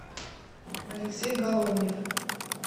алексей головнев